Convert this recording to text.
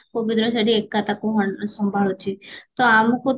ପବିତ୍ର ସେଠି ଏକା ତାକୁ ସମ୍ଭାଳୁଚି ତ ଆମକୁ